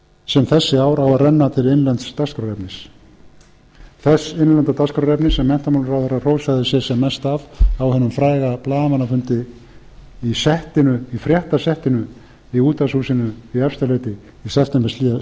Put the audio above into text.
sem þessi ár á að renna til innlends dagskrárefnis þess innlenda dagskrárefnis sem hæstvirtur menntamálaráðherra hrósaði sér sem mest af á hinum fræga blaðamannafundi í fréttasettinu í útvarpshúsinu í efstaleiti í september síðastliðinn ég